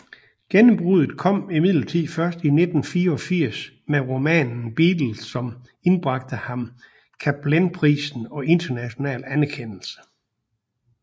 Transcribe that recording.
Gennembruddet kom imidlertid først i 1984 med romanen Beatles som indbragte ham Cappelenprisen og international anerkendelse